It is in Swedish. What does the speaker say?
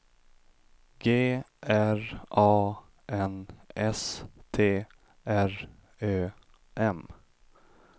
G R A N S T R Ö M